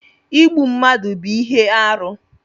Ịgbụ mmadụ bú ihe arụ